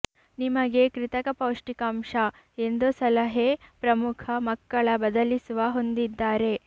ನಿಮಗೆ ಕೃತಕ ಪೌಷ್ಟಿಕಾಂಶ ಎಂದು ಸಲಹೆ ಪ್ರಮುಖ ಮಕ್ಕಳ ಬದಲಿಸುವ ಹೊಂದಿದ್ದರೆ